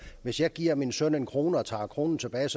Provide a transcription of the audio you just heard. hvis jeg giver min søn en kroner og tager en kroner tilbage